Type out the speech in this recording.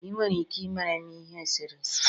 ị nwere ike ịmere m ihe osise?